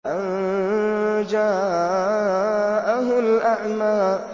أَن جَاءَهُ الْأَعْمَىٰ